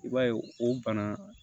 I b'a ye o bana